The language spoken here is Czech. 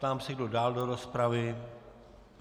Ptám se, kdo dále do rozpravy.